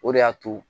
O de y'a to